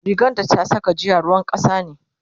rigan da ta Saka jiya ruwan kasa ne